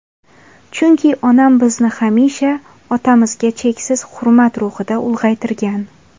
Chunki onam bizni hamisha otamizga cheksiz hurmat ruhida ulg‘aytirgan.